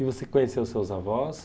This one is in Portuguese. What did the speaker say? E você conheceu seus avós?